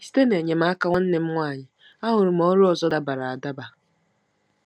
Site n'enyemaka nwanne m nwanyị, ahụrụ m ọrụ ọzọ dabara adaba.